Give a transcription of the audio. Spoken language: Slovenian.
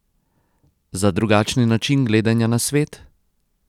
Za drugačni način gledanja na svet?